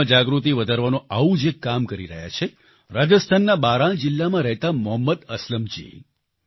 ખેડૂતોમાં જાગૃતિ વધારવાનું આવું જ એક કામ કરી રહ્યા છે રાજસ્થાનના બારાં જિલ્લામાં રહેતા મોહમ્મદ અસલમજી